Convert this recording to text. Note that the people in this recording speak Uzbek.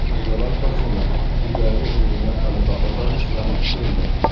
Mirjalol Qosimov: Uydagi o‘yinda g‘alaba qozonish vaqti keldi.